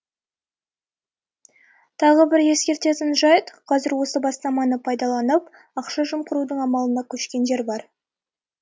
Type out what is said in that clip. тағы бір ескеретін жайт қазір осы бастаманы пайдаланып ақша жымқырудың амалына көшкендер бар